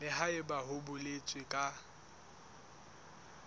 le haebe ho boletswe ka